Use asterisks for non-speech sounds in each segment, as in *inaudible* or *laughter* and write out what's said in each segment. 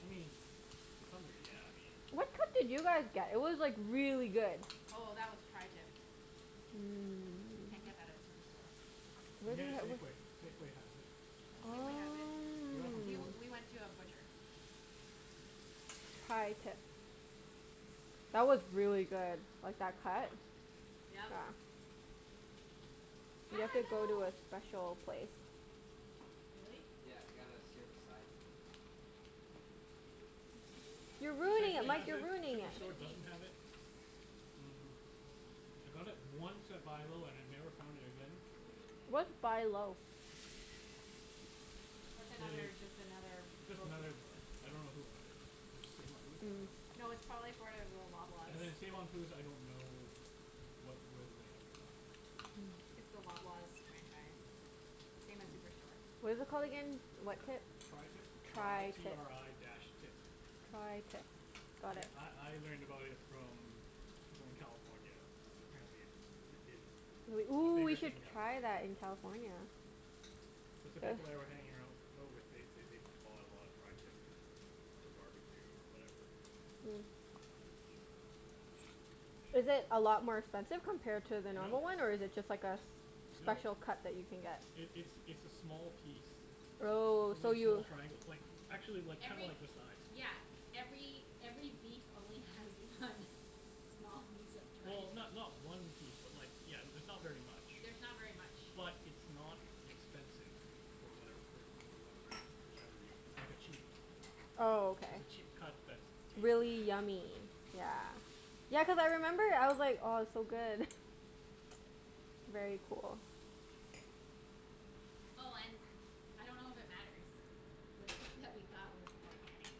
I mean, to some degree, yeah. I mean What cut did you guys get? It was like really good. Oh, that was tri-tip. You can't Mmm. get that at Superstore. You can Where do get you it have at w- Safeway. Safeway has it. Safeway has it. Um We Oh. we went *inaudible* to a butcher. tri-tips. That was really good. Like, that cut. Yeah. Yep. You have Ah, to go to no. a special place. Really? Yeah, you gotta sear the sides and *noise* You're You *noise* ruining shouldn't it, Safeway need Mike, has to. you're it. ruining it. You Superstore shouldn't need doesn't to. have it. Mm I got it once at Buy Low and I never found it again. What's Buy Low? That's I- it's another, just another just grocery another store. I don't know who owns it. Is it Save on Foods? I Mm. *noise* Hmm. dunno. No, it's probably for *inaudible* Loblaws. And then Save on Foods, I don't know what, whether they have it or not. It's the Loblaws franchise. Same as Superstore. What is it called again? What tip? tri-tip. Tri t tri-tip. r i dash tip. tri-tip. I Got it. I I learned about it from people in California cuz apparently it's i- it's We, a ooh, we bigger should thing down there. try that in California. It's the *noise* people I were hanging arou- out with. They they they bought a lot of tri-tip. To barbecue or whatever. Yeah. Is it a lot more expensive compared to the Yeah, a No. normal one, or miss. is it just like a s- No. special cut that you can get? It it's it's a small piece. It's Oh, only so a small you triangle. It's like actually like, kinda Every like this size. Yeah, every every beef only has one small piece of tri- Well, ti- not not one piece, but like, yeah, it's not very much. There's not very much. But it's not expensive. For whatever wer- wer- whatever whatever reason. It's like a cheap Oh, okay. it's a cheap cut that's tasty. Really yummy. Yeah. Yeah, cuz I remember I was like, "Oh, it's so good." *laughs* Very cool. Oh and, I don't know if it matters the steak that we got was organic.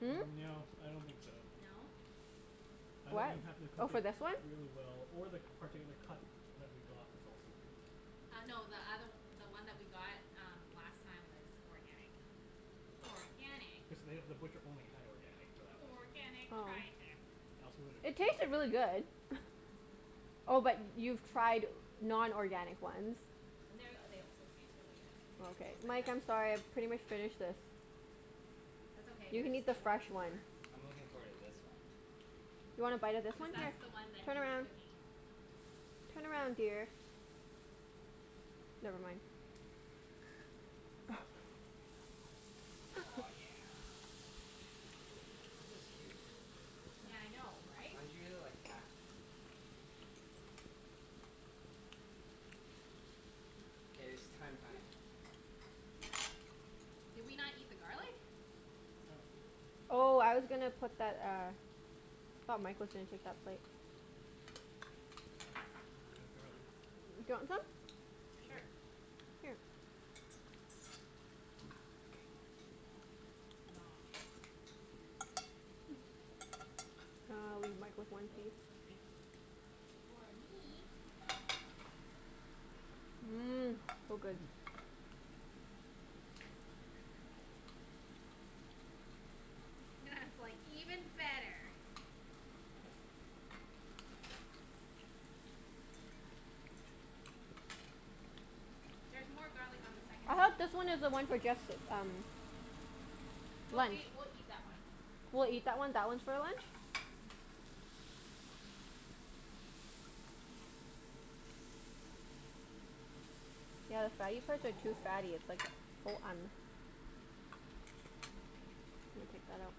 Hmm? No, I don't think so. No? I think What? you happened to Oh, cook for it this one? really well or the particular cut that we got was also good. Uh no, the othe- the one that we got um last time was organic. Organic. Cuz they, the butcher only had organic for that one. Organic tri-tip. I also It tasted really good. *inaudible* *noise* Oh, but y- Yeah. you've tried non-organic ones? And they're, they also taste really good. Oh, They okay. taste like Mike, that I'm sorry. I've pretty much finished this. That's okay, You there's can eat the lots fresh one. more. I'm looking forward to this one. You wanna bite of this Cuz one? Here. *noise* that's the one that Turn he's around. cooking. Turn around, dear. Never mind. *noise* Oh, *laughs* yeah. This is huge. Yeah. Yeah, I know, right? Mine's usually like half K, it's thyme time. Did we not eat the garlic? Oh. *noise* Oh, I was gonna put that uh Thought Mike was gonna take that plate. We have garlic. *noise* Do you want some? Sure. Sure. *noise* Here. *noise* *noise* Great. Noms. *noise* *noise* Ah, I'll leave Mike with one Oh, piece. sorry. Or me. Mmm. So good. Mmm. Mmm. *laughs* That's like even better. There's more garlic on the *noise* second I hope this steak. one is the one for guests, um No, we lunch. we'll eat that one. *noise* We'll eat that one. That one's for lunch? Mhm. *noise* *noise* Yeah, the fatty parts are too fatty. *noise* It's like *inaudible* *noise* Let me take that out.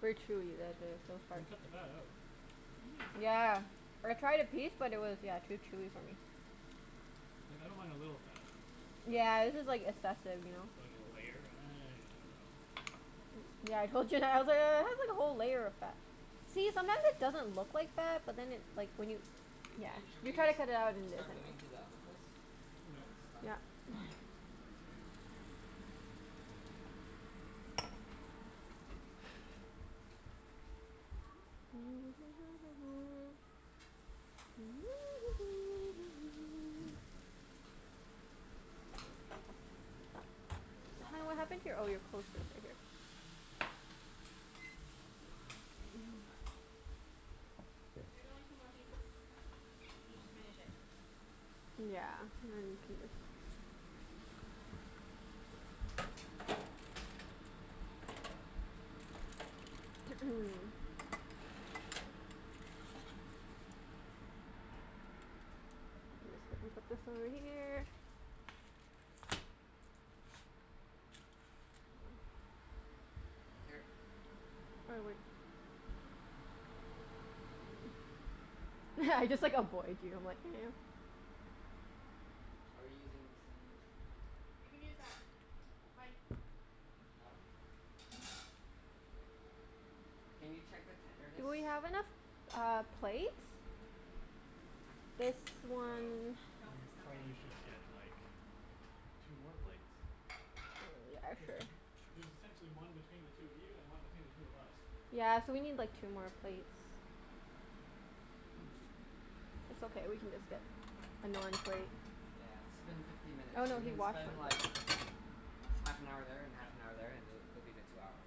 Very chewy the the *inaudible* You part. can cut the fat out. Mhm. Yeah. I tried a piece but it was, yeah, too chewy for me. Like, I don't mind a little fat. *noise* But Yeah, this is like like assessive, you know? like a layer? I don't know. *noise* Yeah, I told Junette. I was like, "Oh, it has like a whole layer of fat." See? Sometimes it doesn't look like fat, but then it like, when you, yeah Hey, should you we try s- to cut it out and it start moving isn't to the other place? When this is *inaudible* done? Yeah. *noise* Yeah. move our plates. Thanks. *noise* *noise* K, it's Hun, almost what ready. happened to your, oh your coaster's right here. *noise* There's only two more pieces. You just *noise* finish it. Yeah, and then can you *noise* Just let me put this over here. *noise* Here. Why, what *laughs* I just like avoid you. I'm like *noise* Are you using the same, *noise* oh You can use that. Mike. Hmm? That one? K. *noise* Can you check the tenderness? Do we have enough uh, plates? This one Nope, We it's not ready. probably should K. get like two more plates? I dunno. Yeah, Cuz sure. y- there's essentially one between the two of you and one between the two of us. Yeah, so we need like two more plates. *noise* It's okay, we can just get a non-plate. Yeah, it's been fifteen minutes. Oh So no, we he can washed spend like, it. half an hour there and Yeah. half an hour there, and th- that'll be the two hours.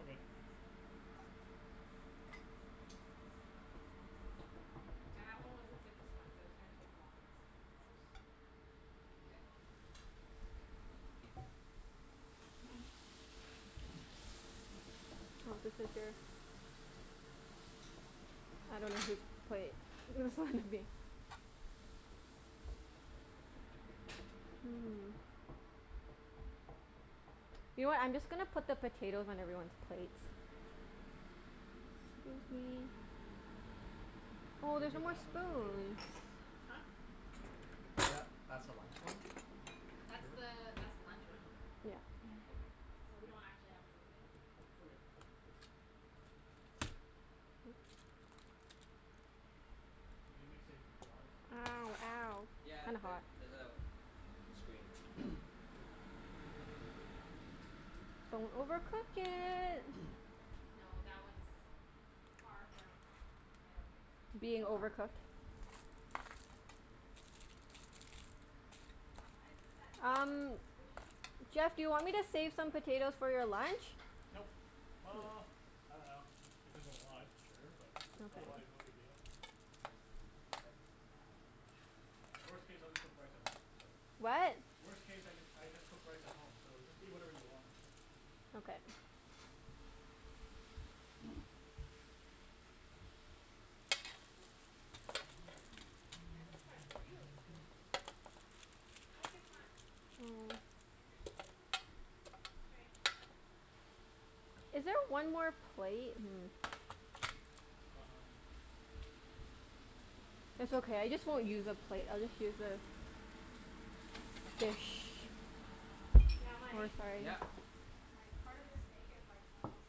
Okay. Yeah, that one was the sickest one so it's gonna take the longest. Longest? *noise* *noise* Oh, this is their I dunno whose plate this one would be. Mhm. You know what? I'm just gonna put the potatoes on everyone's plates. Excuse me. Oh, Should there's we no move more that one to the table too, spoons. or no? Huh? Tha- that's the Y- lunch one. That's Sure. the that's the lunch one. Yeah. Okay, so we So we leave it? don't actually have to move it. Okay. *noise* *noise* Is it gonna be safe from flies? Ow, ow. *laughs* It's Yeah, kinda th- hot. there's a screen. *noise* Good. Don't overcook it. *noise* No, that one's far from, I don't think so. Being Ah, overcooked? just a minute. Why is this at, that part's Um, so squishy? Jeff, do you want me to *inaudible* a save some fat. potatoes for your lunch? Nope. K. Uh, I dunno. If there's a lot, sure, but otherwise Okay. no big deal. Just flip it now. Yeah. Worst case, I'll just cook rice at home, so What? Worst case I just I just cook Nice. rice at home, so just eat whatever you want. Okay. *noise* Yeah, this part's really squishy. *noise* Oh, I guess not Oh. Interesting. *inaudible* Is there one more plate? Hmm. Um It's okay. I just won't use a plate. I'll just use this. Dish. Yeah, Oh, Mike? sorry. Yeah. Like, part of this steak is like, almost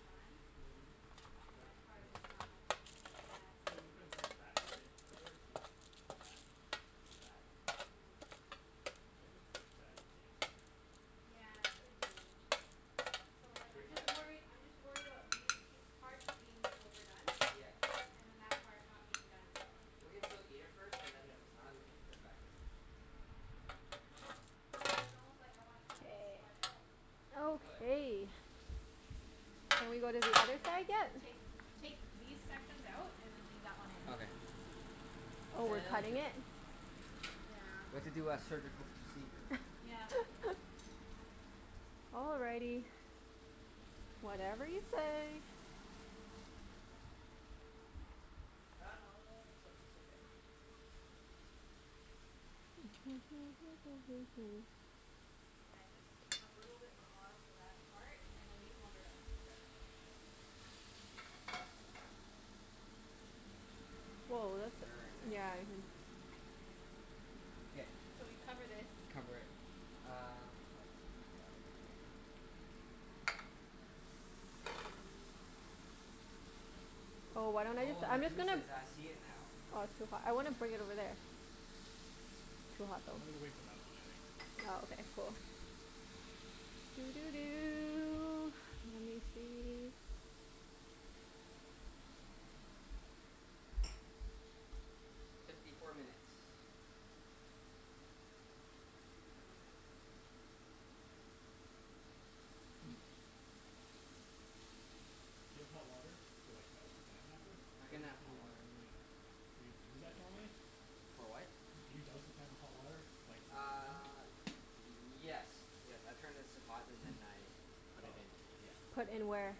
done. Mhm, And but then part then of it's it's not. squishy. Yeah, so But is it cuz that's fat area? That area could be fat. Is it fat? I think this could be a fatty piece. Yeah, it could be. So like Should we I'm just try some? worried, I'm just worried about these pie- parts being overdone. Yeah. And then that part not being done. Ah. We can still eat it first, and then if it's not we can just put it back in. Mm, it's it's almost like I wanna cut this K. part out. We could. Okay. Shall we go to the other And then side yet? take take these sections out and then leave that one in. Okay. Oh, we're Sounds cutting good. it? Yeah. We have to do a surgical procedure. Yep. *laughs* All righty. Whatever you say. *inaudible* It's o- it's okay. *noise* Yeah, just a little bit more for that part and then these ones are done. Mkay. Woah, that's, Very nice. yeah, I thi- K. So we cover this. Cover it. Uh, I got it here. Oh, why don't I just, Oh, the I'm just gonna juices. I see it now. Oh, it's too hot. I wanna bring it over there. Mhm. Too hot, though. I'm gonna wait for that one, I think. Oh, okay. Cool. *noise* Let me see. Fifty four minutes. No worries. *noise* Do you have hot water to like, douse the pan after? I Or can y- have do hot you water. normally Do you do that normally? For what? Do you douse the pan with hot water like Uh, *inaudible* yes. Yes. I turn this to hot and then *noise* I put Oh. it in. Yeah. Put in where?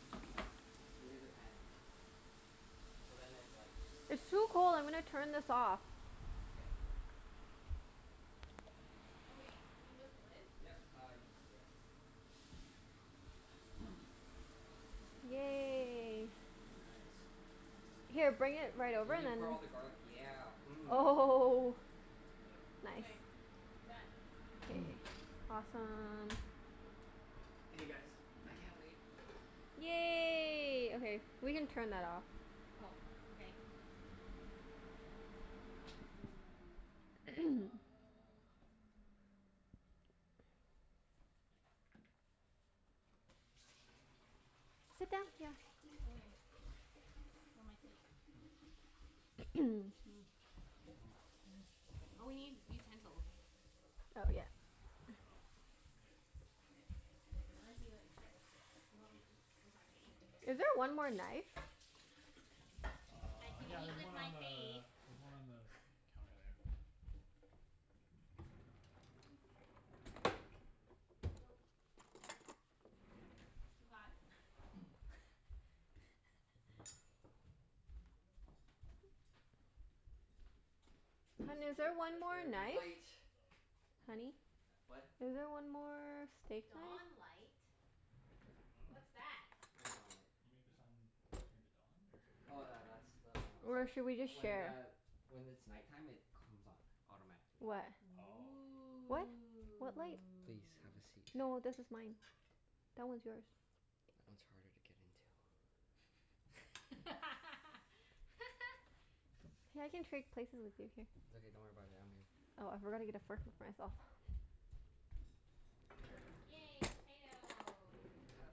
Into the pan. Into the pan. So then it like It's too cold. I'm gonna turn this off. K. Okay, can you lift the lid? Yep. Uh, you can, yep. *noise* Yay. Nice. Here, bring it right over We and can then put all the garlic, yeah. Mmm. Oh *laughs* Yep. Nice. Okay. Done. K. *noise* Awesome. Okay guys, I can't *noise* wait. Yay. Okay. We can turn that off. Oh, okay. So uh *noise* *noise* Sit down, yeah. Oh eh. Where am I sitting? Mm. Mm. *noise* Mm. Mm. Oh, Mm. we need utensils. Oh, yeah. Oh, yes. Unless you expect, you want me to eat with my face. Is there one more *noise* knife? I Uh, can yeah, eat there's with one my on face. the, there's one on the *laughs* counter there. *noise* Nope. Can't. Too hot. *noise* *laughs* Is this Hun, is there *inaudible* one Let more there be light. knife? Oh. Honey? *noise* What? Is there one more steak Dawn knife? light. I dunno. What's that? What dawn light? You make the sun turn to dawn, or Oh tha- that's the one Or outside. should we just When share? the, when it's night time, it comes on. Automatically. What? Oh. What? What light? Please, have a Ooh. seat. No, this is mine. That one's yours. That one's harder to get into. *laughs* Hey, I can *laughs* trade places with you. Here. It's okay. Don't worry about it. I'm here. Oh, I forgot to get a fork for myself. Yay, potato. Potat.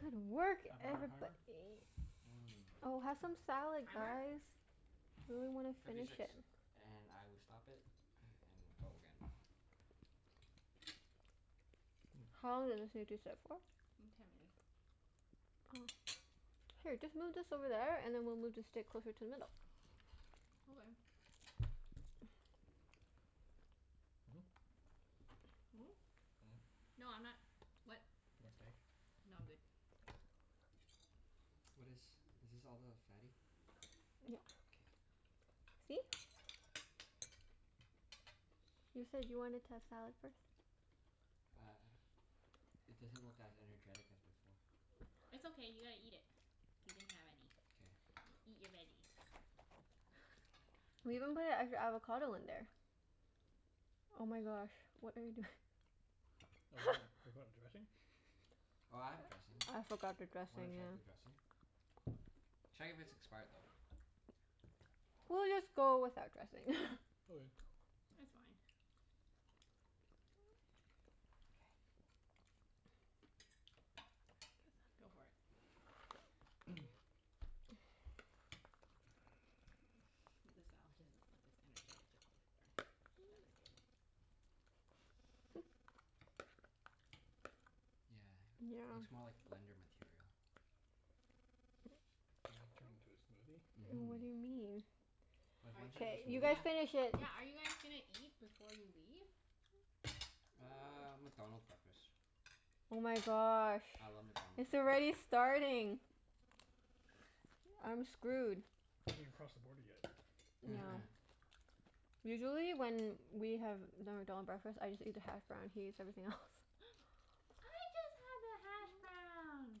Good work, Half an hour everybo- timer? ee. Oh, Mmm. have some *noise* salad Timer? guys. We really wanna Fifty finish six. it. And I will stop it *noise* and go again. *noise* How long did this need to sit for? *noise* Mm, ten minutes. *noise* Oh. Here, just move this over there, and then we'll move the steak closer to the middle. *noise* *noise* Okay. *noise* Hmm? *noise* Mm? Hmm. *noise* No, I'm not, what? More steak? No, I'm good. Oh. What is, is this all the fatty? *noise* Yep. K. *noise* See? You said you wanted to have salad first. Uh, it doesn't look as energetic as before. *noise* It's okay, you gotta eat it. You didn't have any. *noise* K. Eat your veggies. *noise* *laughs* *noise* We even put an extra avocado in there. Oh my gosh, what are you doing? *noise* *laughs* *inaudible* forgot dressing? *noise* Oh, I have *noise* dressing. I forgot the W- wanna dressing, check the yeah. dressing? *noise* Check if it's expired though. *noise* We'll just go without dressing. *noise* *laughs* Okay. *noise* *noise* It's fine. *noise* Go for it. *noise* The salad doesn't look as energetic as *noise* before. That was good. *noise* *laughs* *noise* Yeah, Yeah. looks more *noise* like blender *laughs* material. You *noise* gonna turn *noise* it *laughs* into Mhm. And what a do you mean? smoothie? *noise* *noise* Cuz Are once it's y- K, a you guys smoothie finish yeah, it. yeah, are you guys gonna eat before you leave? *noise* Uh, McDonald's breakfast. Oh my gosh. I love McDonald's It's already breakfasts. starting. *noise* *noise* I'm screwed. *noise* You haven't even crossed the border yet. *noise* Yeah. *noise* *laughs* *noise* Usually when we have the McDonald breakfast, I just eat the hash brown. He eats everything else. *laughs* *noise* I just have the hashbrown.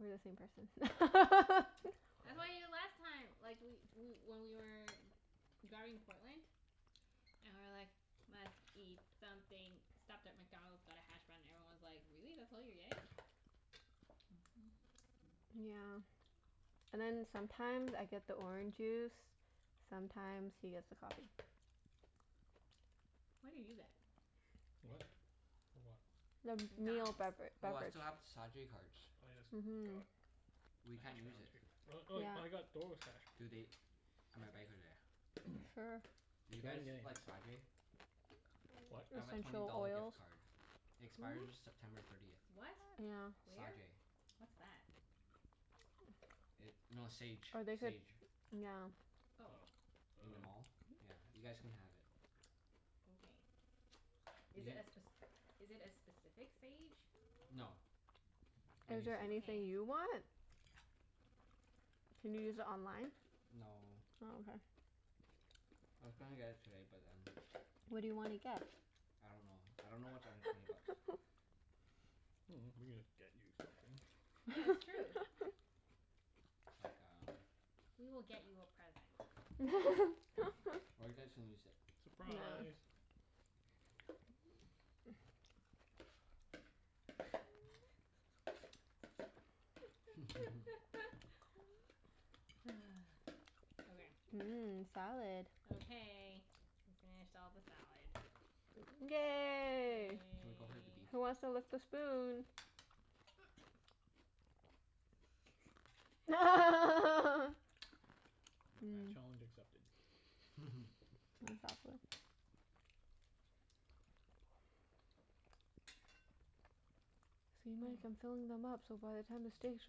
We're the same person. *laughs* *noise* I had them the last time like, we we when we were driving to Portland. And we were like, "Must eat something." Stopped at McDonald's, got a hash brown, and everyone was like, "Really? That's all you're getting?" *noise* Yeah. *noise* And then sometimes I get the orange juice. *noise* Mhm. Sometimes he gets the coffee. *noise* What do you get? *noise* What? For what? *noise* The meal McDonald's. *noise* bevera- Oh, I beverage. still have the Sa-jay cards. Oh yes, Mhm. god. We A can't hash use brown it. too. Oh *noise* oh, I Yeah. got *inaudible* hash *noise* Do they browns. *noise* That's right. *inaudible* *noise* *noise* Sure. *inaudible* Do you get guys anything. like Sa-jay? *noise* *noise* What? *noise* I have a twenty Essential dollar oils. gift card. *noise* It expires Who? September thirtieth. What? *noise* Yeah. Where? Sa-jay. *noise* What's that? It, no, Sage. *noise* Or they could, Sage. yeah. *noise* *noise* Oh. Oh. I In the dunno. mall. Yeah, you guys can have it. *noise* *noise* Okay. *noise* You Is it a get spec- is it a specific Sage? *noise* no, *noise* any Is there Sage. anything you want? *noise* *noise* Can you use it *noise* online? *noise* *noise* No. Oh, *noise* I was gonna get it today, but then okay. *noise* What do you wanna Okay. get? *noise* *noise* I don't know. I don't know what's under twenty bucks. *noise* *laughs* Mm, we could just get you something. *noise* Yeah, *noise* it's true. That's like *laughs* um *noise* We will get you a present. *noise* *noise* Or you guys can use it. *laughs* *noise* Yeah. Surprise! *noise* *noise* *noise* *laughs* *laughs* *noise* Okay. *noise* Mmm, salad. Okay. We finished all the salad. *noise* *noise* Yay. Can we go for the beef? Yay. *noise* Who wants to lick the spoon? *noise* *noise* *noise* *laughs* *noise* *noise* Not bad. Challenge accepted. Mmm. *noise* *noise* Exactly. *laughs* *noise* *noise* See Mike? I'm *noise* filling them up so by the time the steak's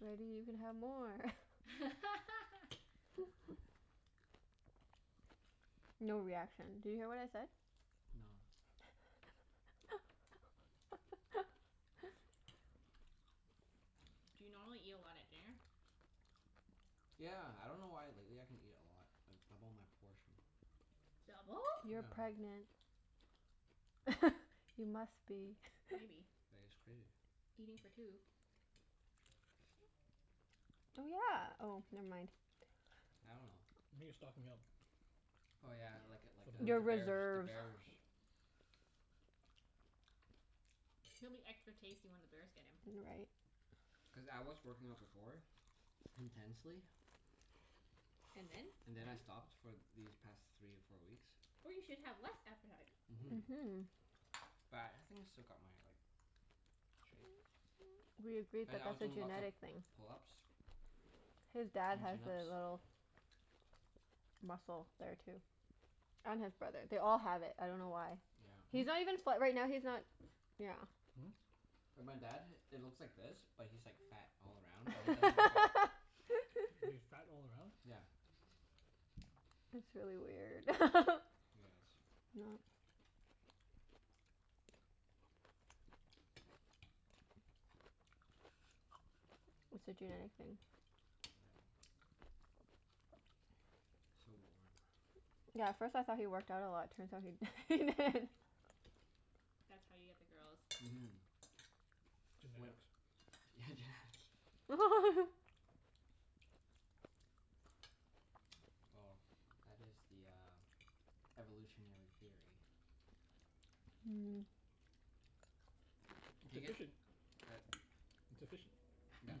ready you can have more. *laughs* *noise* *noise* *noise* No reaction. Did you hear what I said? No. *laughs* *noise* *noise* Do you normally eat a lot at dinner? *noise* *laughs* Yeah. I dunno why but lately I can eat a lot. I double my portion. *noise* Double? *noise* You're pregnant. *noise* *noise* Yeah. *laughs* You must be. *noise* Maybe. *laughs* *noise* I guess. Crazy. Eating for two. *noise* Oh, yeah. Oh, never mind. *noise* I dunno. *noise* *noise* Maybe you're stocking up? *noise* Oh yeah, like a like For *noise* a, the Your the birth *inaudible* bears. The reserves. bears. *noise* He'll be extra tasty when the bears get him. *noise* You're right. *noise* Cuz I was *noise* working out before. *laughs* Intensely. *noise* And then? And then I stopped for these past three or four weeks. *noise* Oh, you should have less appetite. Mhm. *noise* But I think I still got my like, *noise* shape. *noise* Mhm. *noise* We *noise* agreed But that I was that's a doing lots of genetic thing. *noise* pull-ups *noise* His dad and has chin-ups. the *noise* little Hmm? *noise* muscle there too. *noise* And his brother. They all *noise* have it. I dunno why. Yeah. He's not even fa- right now, he's not Yeah. Hmm? *noise* *noise* And my dad, it looks like this but he's like fat *noise* *noise* all *noise* around and he doesn't work *noise* out. He's fat *laughs* all around? *noise* *noise* Yeah. *laughs* *noise* It's really weird. *laughs* *noise* *noise* Yeah, *noise* it Not *laughs* is. *noise* It's a genetic thing. *noise* *noise* Yeah. *noise* So warm. *noise* Yeah, at first I thought he worked out a lot. Turns out he *laughs* he didn't. *laughs* *noise* *laughs* *noise* *noise* *noise* That's how you get the girls. *noise* Mhm. *noise* When, yeah, genetics. *noise* Genetics. *noise* Well, that is the uh, *noise* *noise* evolutionary theory. *noise* *laughs* Mm. *noise* It's Can I get, efficient. uh, It's efficient. *noise* *noise* yeah,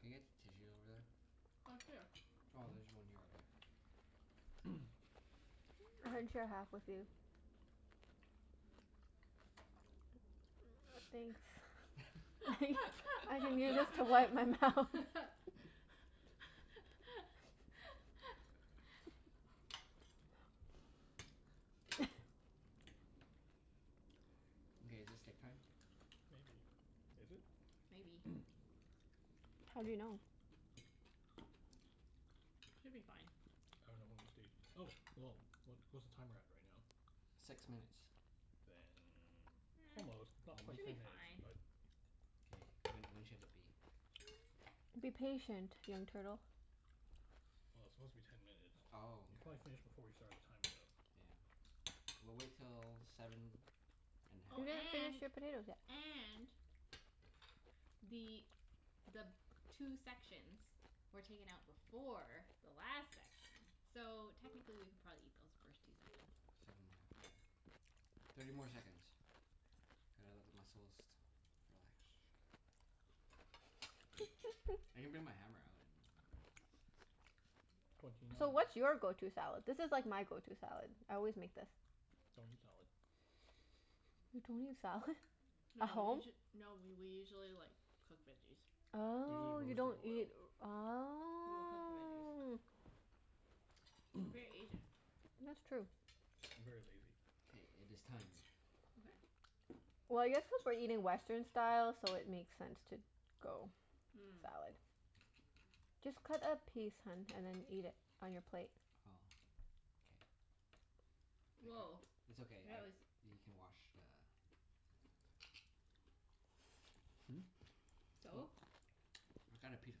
can I get tissues over Oh, here. there? *noise* Oh, there's one here. Okay. Hmm? *noise* I can share half with you. *noise* Thanks. *noise* *laughs* I can use this to wipe my mouth. *laughs* *laughs* *laughs* *laughs* *noise* Okay, is it steak time? *noise* Maybe. Is it? *noise* Maybe. *noise* How do you know? *noise* Should be fine. *noise* I dunno when we stayed, oh, well, what what's the timer at right now? *noise* Six minutes. *noise* Then almost, *noise* not Almost? Should quite be ten minutes, fine. but *noise* Well, K, when when should it be? *noise* Be patient, young turtle. it's supposed to be ten *noise* minutes. Oh, You probably finished before we started the timer okay. though. Yeah. We'll wait till seven *noise* *noise* and a Oh You half. didn't and finish your potatoes yet. and *noise* the the two sections were taken out before the last section. So, technically we could probably eat those first two sections. *noise* Seven and a half, yeah. *noise* *noise* Thirty more seconds. Gotta let the muscles *noise* relax. *noise* *noise* Twenty *noise* *noise* I can nine. bring my hammer out and *laughs* *noise* you know *noise* *noise* So, what's your go- *laughs* to Don't salad? This is like my go- to salad. I always eat make this. *noise* salad. You don't eat salad? *noise* *laughs* No At we home? usu- no we we usually *noise* like cook veggies. *noise* *noise* Usually Oh, you roast or don't boil. eat, *noise* We will cook the veggies. oh We're very Asian. *noise* *noise* That's true. I'm very lazy. *noise* K, it is time. *noise* Okay. *noise* Well, I guess cuz we're eating Western style, so it makes sense to *noise* go salad. Just cut a piece, hun, Mm. and then eat it on your plate. Oh. K. *noise* I cut, Woah, it's that okay. I, was you can *noise* wash the *noise* *noise* Hmm? *laughs* *laughs* What? So? *noise* I got a piece of